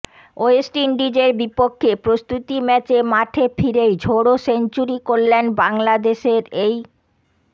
West ইন্ডিজের বিপক্ষে প্রস্তুতি ম্যাচে মাঠে ফিরেই ঝোড়ো সেঞ্চুরি করলেন বাংলাদেশের এই